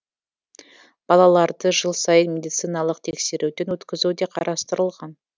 балаларды жыл сайын медициналық тексеруден өткізу де қарастырылған